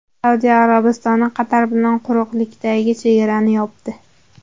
Saudiya Arabistoni Qatar bilan quruqlikdagi chegarani yopdi.